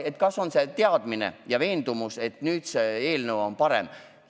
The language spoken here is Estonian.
Et kas meil on teadmine ja veendumus, et see eelnõu on nüüd parem?